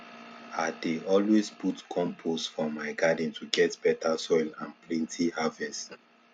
i dey always put compost for my garden to get better soil and plenty harvest